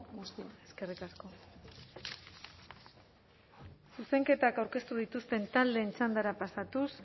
guztioi eskerrik asko zuzenketak aurkeztu dituzten taldeen txandara pasatuz